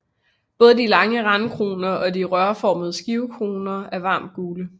Både de lange randkroner og de rørformede skivekroner er varmt gule